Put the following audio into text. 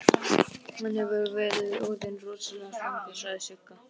Hann hefur verið orðinn rosalega svangur, sagði Sigga.